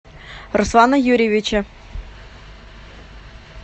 руслана юрьевича